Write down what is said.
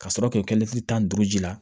Ka sɔrɔ k'o kɛ tan ni duuru ji la